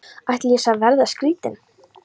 Ætli ég sé að verða skrýtin.